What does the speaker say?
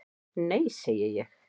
"""Nei, segi ég."""